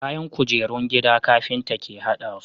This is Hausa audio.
Kayan kujerun gida carpinta ke hadasu